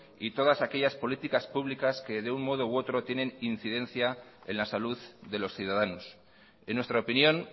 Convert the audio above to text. y todas aquellas políticas públicas que de un modo u otro tienen incidencia en la salud de los ciudadanos en nuestra opinión